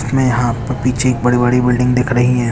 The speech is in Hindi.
इसमें यहाँ पीछे बड़ी-बड़ी बिल्डिंग दिख रही है।